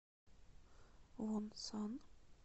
вонсан